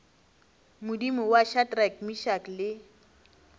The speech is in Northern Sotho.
modimo wa shadrack meshack le